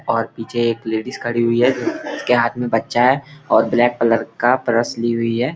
और पीछे एक लेडिज खड़ी हुई है जिसके हाथ में बच्चा है और ब्लैक कलर का परस ली हुई है।